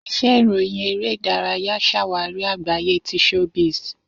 Ise iroyin ere idaraya ṣawari agbaye ti showbiz.